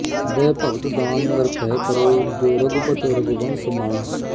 ਦੈ ਭਗਤਿ ਦਾਨ ਨਿਰਭੈ ਕਰਹੁ ਜੋ ਰਘੁਪਤਿ ਰਘੁਬੰਸ ਮਣਿ